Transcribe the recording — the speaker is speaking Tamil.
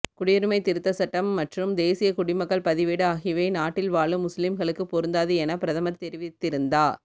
குடியுரிமை திருத்த சட்டம் மற்றும் தேசிய குடிமக்கள் பதிவேடு ஆகியவை நாட்டில் வாழும் முஸ்லீம்களுக்கு பொருந்தாது என பிரதமர் தெரிவித்திருந்தா